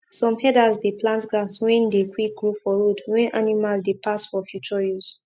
some herders dey plant grass wen dey quick grow for road wen animal dey pass for future use